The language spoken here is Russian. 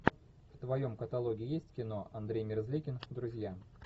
в твоем каталоге есть кино андрей мерзликин друзья